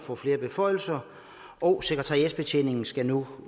får flere beføjelser og sekretariatsbetjeningen skal nu